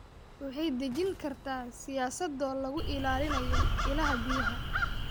Waxay dejin kartaa siyaasado lagu ilaalinayo ilaha biyaha.